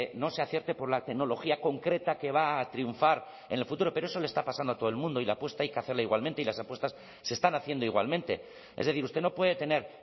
no se acierte por la tecnología concreta que va a triunfar en el futuro pero eso le está pasando a todo el mundo y la apuesta hay que hacerla igualmente y las apuestas se están haciendo igualmente es decir usted no puede tener